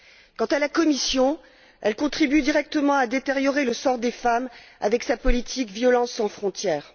Quant à la Commission, elle contribue directement à détériorer le sort des femmes avec sa politique violences sans frontières.